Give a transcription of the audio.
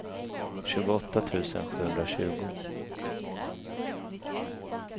tjugoåtta tusen sjuhundratjugo